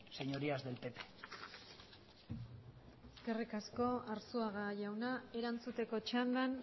señorías del pp eskerrik asko arzuaga jauna erantzuteko txandan